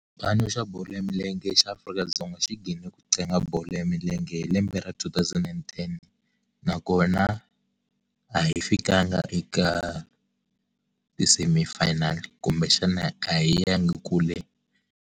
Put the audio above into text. Xipano xa bolo ya milenge xa Afrika-Dzonga xi ghine ku tlanga bolo ya milenge hi lembe ra two thousand and ten nakona a hi fikanga eka ti-semifinal, kumbexana a hi yangi kule.